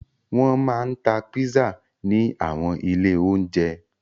Wọn máa ń ta pizza ní àwọn ilé-oúnjẹ.